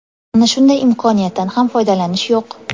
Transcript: Mana shunday imkoniyatdan ham foydalanish yo‘q.